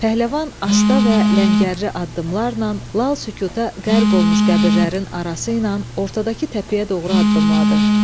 Pəhləvan asta və ləngərli addımlarla lal sükuta qərq olmuş qəbirlərin arası ilə ortadakı təpəyə doğru addımladı.